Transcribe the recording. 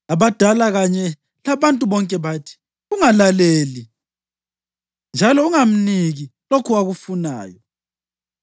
Abadala kanye labantu bonke bathi, “Ungalaleli njalo ungamniki lokho akufunayo.”